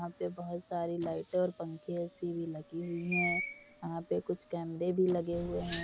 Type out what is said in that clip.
यहाँ पे बहोत सारी लाइटें और पंखे एसी भी लगी हुई हैं। यहां पर कुछ कैमरे भी लगे हुए हैं।